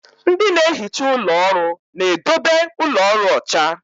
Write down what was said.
Ndị na-ehicha ụlọ ọrụ na-edobe ụlọ ọrụ ọcha.